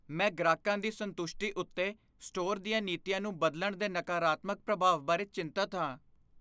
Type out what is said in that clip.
ਮੈਂ ਗ੍ਰਾਹਕਾਂ ਦੀ ਸੰਤੁਸ਼ਟੀ ਉੱਤੇ ਸਟੋਰ ਦੀਆਂ ਨੀਤੀਆਂ ਨੂੰ ਬਦਲਣ ਦੇ ਨਕਾਰਾਤਮਕ ਪ੍ਰਭਾਵ ਬਾਰੇ ਚਿੰਤਤ ਹਾਂ।